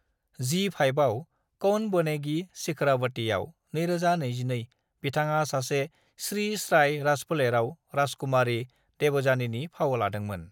जी-5आव "कौन बनेगी शिखरावती"आव (2022) बिथाङा सासे स्रि-स्राय राजफोलेराव राजकुमारी देवजानीनि फाव लादोंमोन।